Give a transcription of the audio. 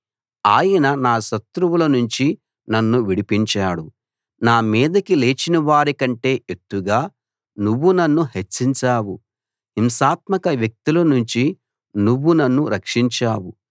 ఆయన నా శత్రువుల నుంచి నన్ను విడిపించాడు నా మీదకి లేచిన వారికంటే ఎత్తుగా నువ్వు నన్ను హెచ్చించావు హింసాత్మక వ్యక్తుల నుంచి నువ్వు నన్ను రక్షించావు